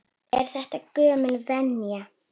Er þetta gömul venja?